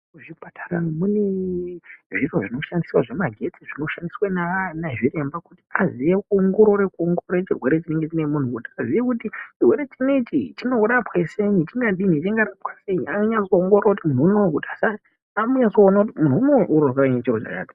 Muzvipatara mune zvimweni zviro zvemagetsi zvinoshandiswa nanachiremba kuti vazive kuongorora kuongorore chirwere chinenge chine munhu kuti azive kuti chirwere chinechi chinorapwa senyi chingadini chingarapwa sei anyanya kuongorora kuti munhu unowi unorwara nechiro chakati .